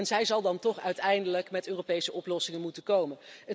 Zij zal dan toch uiteindelijk met Europese oplossingen moeten komen.